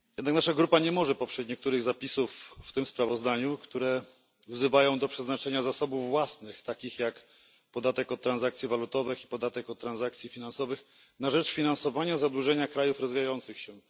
Nasza grupa jednak nie może poprzeć niektórych zapisów w tym sprawozdaniu, wzywających do przeznaczenia zasobów własnych, takich jak podatek od transakcji walutowych i podatek od transakcji finansowych, na rzecz finansowania zadłużenia krajów rozwijających się.